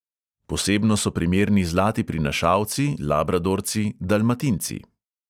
Posebno so primerni zlati prinašalci, labradorci, dalmatinci.